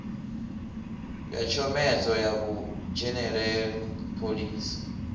ya tshomedzo ya vhudzhenelelani phoḽisi